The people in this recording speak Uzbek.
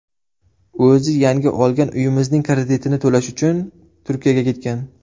O‘zi yangi olgan uyimizning kreditini to‘lash uchun Turkiyaga ketgan.